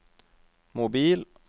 mobil